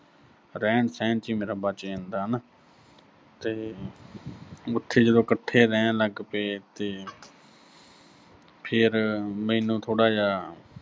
ਰਹਿਣ-ਸਹਿਣ 'ਚ ਹੀ ਮੇਰਾ ਬਚ ਜਾਂਦਾ ਹਨਾ, ਤੇ ਉਥੇ ਜਦੋਂ ਇਕੱਠੇ ਰਹਿਣ ਲੱਗ ਪਏ ਤੇ ਫਿਰ ਅਹ ਮੈਨੂੰ ਥੋੜ੍ਹਾ ਜਾ ਅਹ